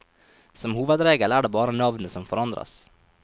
Som hovedregel er det bare navnet som forandres.